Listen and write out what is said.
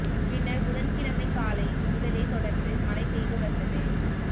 பின்னா் புதன்கிழமை காலை முதலே தொடா்ந்து மழை பெய்து வந்தது